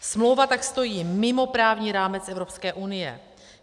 Smlouva tak stojí mimo právní rámec Evropské unie.